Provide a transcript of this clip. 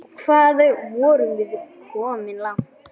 Hvað vorum við komin langt?